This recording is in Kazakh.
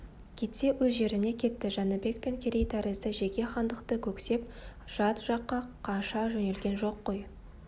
кетсе өз жеріне кетті жәнібек пен керей тәрізді жеке хандықты көксеп жат жаққа қаша жөнелген жоқ қой